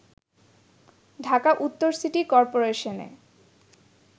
ঢাকা উত্তর সিটি করপোরেশনে